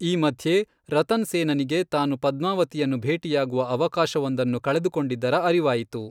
ಈ ಮಧ್ಯೆ, ರತನ್ ಸೇನನಿಗೆ ತಾನು ಪದ್ಮಾವತಿಯನ್ನು ಭೇಟಿಯಾಗುವ ಅವಕಾಶವೊಂದನ್ನು ಕಳೆದುಕೊಂಡಿದ್ದರ ಅರಿವಾಯಿತು.